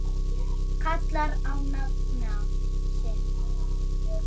kallar á nafna sinn